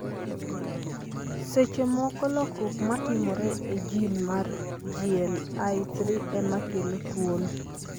Seche moko, lokruok matimore e gene mar GLI3 ema kelo tuwono.